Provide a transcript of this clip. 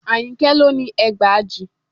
Àyìnkẹ́ ló ni ẹgbàajì